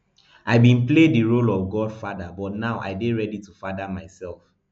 i bin play di role of godfather but now i dey ready to father myself